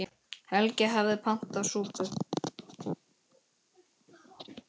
Helgi hafði pantað súpu.